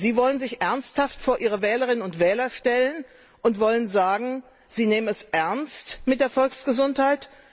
Sie wollen sich ernsthaft vor ihre Wählerinnen und Wähler stellen und sagen, sie nehmen es ernst mit der Volksgesundheit?